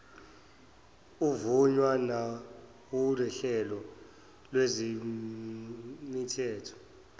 uvunywa nawuhlelo lwezemithetho